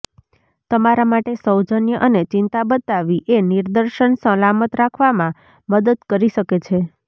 તમારા માટે સૌજન્ય અને ચિંતા બતાવવી એ નિદર્શન સલામત રાખવામાં મદદ કરી શકે છે